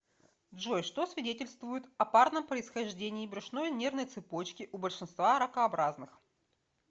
джой что свидетельствует о парном происхождении брюшной нервной цепочки у большинства ракообразных